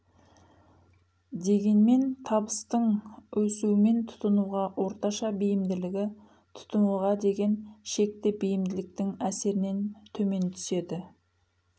дегенмен табыстың өсумен тұтынуға орташа бейімділігі тұтынуға деген шекті бейімділіктің әсерінен төмен түседі